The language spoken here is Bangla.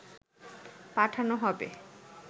পাঠানো হবে